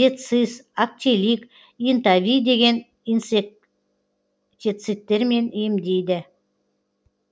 децис актелик инта ви деген инсектецидтермен емдейді